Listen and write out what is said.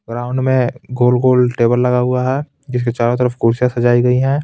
Ground में गोल-गोल table लगा हुआ है जिसके चारों तरफ कुर्सियां सजाई गई है.